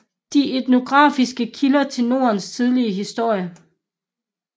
De etnografiske kilder til Nordens tidlige historie